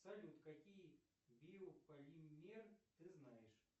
салют какие биополимер ты знаешь